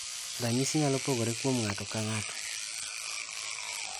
Ranyisi nyalo pogore kuom ng'ato ka ng'ato.